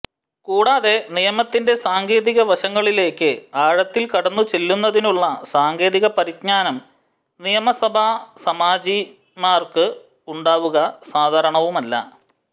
കൂടാതെ നിയമത്തിന്റെ സാങ്കേതികവശങ്ങളിലേക്ക് ആഴത്തിൽ കടന്നുചെല്ലുന്നതിനുള്ള സാങ്കേതിക പരിജ്ഞാനം നിയമസഭാസാമാജികന്മാർക്ക് ഉണ്ടാവുക സാധാരണവുമല്ല